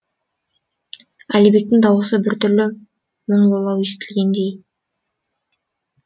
әлібектің даусы бір түрлі мұңлылау естілгендей